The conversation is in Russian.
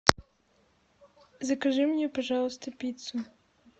закажи мне пожалуйста пиццу